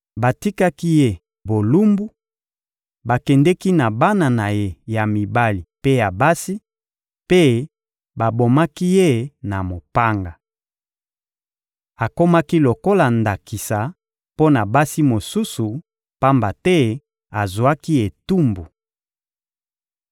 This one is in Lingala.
Batikaki ye bolumbu, bakendeki na bana na ye ya mibali mpe ya basi, mpe babomaki ye na mopanga. Akomaki lokola ndakisa mpo na basi mosusu, pamba te azwaki etumbu.